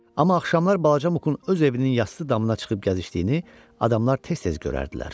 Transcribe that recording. Amma axşamlar balaca Mukun öz evinin yasdı damına çıxıb gəzişdiyini adamlar tez-tez görərdilər.